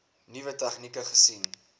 nuwe tegnieke gesien